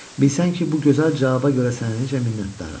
bilirsən ki, bu gözəl cavaba görə sənə necə minnətdaram?